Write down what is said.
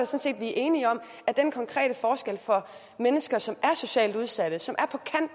set vi er enige om at den konkrete forskel for mennesker som er socialt udsatte som